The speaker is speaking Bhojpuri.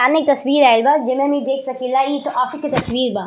सामने एक तस्वीर आइल बा जेमे हम देख सकीला की इ त ऑफिस के तस्वीर बा।